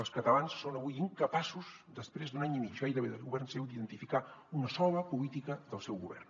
els catalans són avui incapaços després d’un any i mig gairebé de govern seu d’identificar una sola política del seu govern